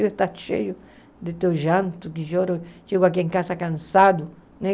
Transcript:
Eu estou cheio de teu janto de choro, chego aqui em casa cansado, né?